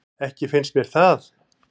Ekki fannst mér það.